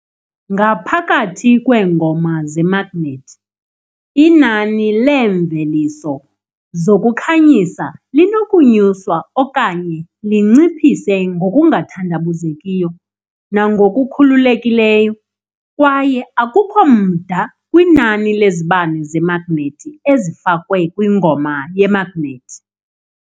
Ngaphakathi kweengoma zemagnethi inani leemveliso zokukhanyisa linokunyuswa okanye linciphise ngokungathandabuzekiyo nangokukhululekileyo, kwaye akukho mda kwinani lezibane zemagnethi ezifakwe kwingoma yemagnethi